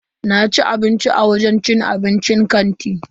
Naci abinci a wajen cin abincin kantin.